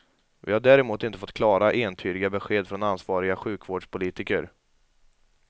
Vi har däremot inte fått klara, entydiga besked från ansvariga sjukvårdspolitiker.